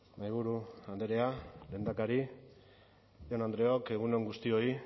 mahaiburu andrea lehendakari jaun andreok egun on guztioi